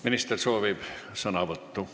Minister soovib sõna võtta.